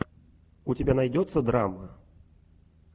у тебя найдется драма